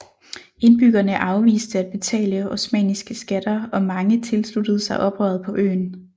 Indbyggerne afviste at betale osmanniske skatter og mange tilsluttede sig oprøret på øen